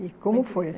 E como foi?